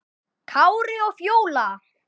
Kári og Fjóla.